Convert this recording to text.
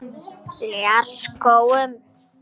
Ljárskógum